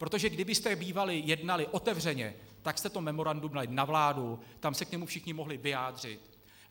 Protože kdybyste bývali jednali otevřeně, tak jste to memorandum dali na vládu, tam se k němu všichni mohli vyjádřit.